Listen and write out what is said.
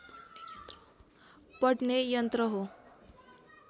पढ्ने यन्त्र हो